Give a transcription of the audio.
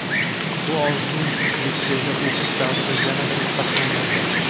Bu orzum litseyda o‘qish davrida yanada mustahkamlangan.